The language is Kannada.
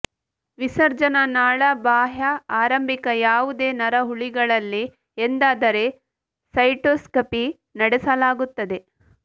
ವಿಸರ್ಜನಾ ನಾಳ ಬಾಹ್ಯ ಆರಂಭಿಕ ಯಾವುದೇ ನರಹುಲಿಗಳಲ್ಲಿ ಎಂದಾದರೆ ಸೈಟೊಸ್ಕಪಿ ನಡೆಸಲಾಗುತ್ತದೆ